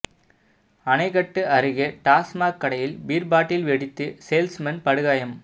அணைக்கட்டு அருகே டாஸ்மாக் கடையில் பீர் பாட்டில் வெடித்து சேல்ஸ்மேன் படுகாயம்